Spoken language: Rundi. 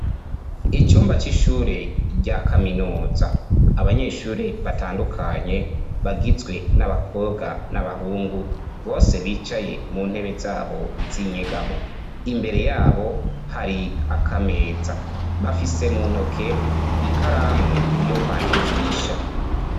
Icumba c'ishure rya kaminuza abanyeshure batandukanye bagizwe n'abakobwa n'abahungu bose bicaye mu ntebe zabo z'inyegamo imbere yabo hari akameza bafise mu ntoke ikaramu yo kwandikisha.